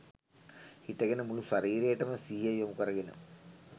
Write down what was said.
හිටගෙන මුළු ශරීරයටම සිහිය යොමු කරගෙන